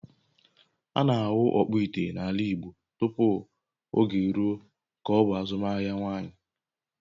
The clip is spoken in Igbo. A na-ahụ ọkpụ ite n’ala Igbo tupu oge eruo ka ọ bụ azụmaahịa nwanyị.